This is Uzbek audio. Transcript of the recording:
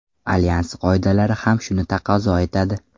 Alyans qoidalari ham shuni taqozo etadi.